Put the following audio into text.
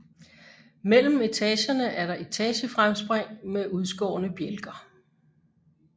Mellem etagerne er der etagefremspring med udskårne bjælker